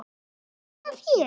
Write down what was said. Gaman að þér!